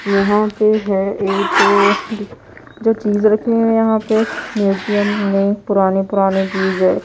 यहां पे है एक अ जो चीज रखी हुई है यहां पे म्यूजियम में पुराने पुराने चीज है।